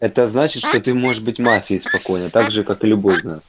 это значит что ты можешь быть мафией спокойно также как и любой из нас